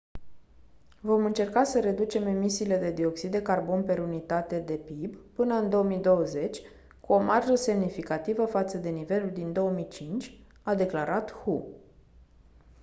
vom încerca să reducem emisiile de dioxid de carbon per unitate de pib până în 2020 cu o marjă semnificativă față de nivelul din 2005 a declarat hu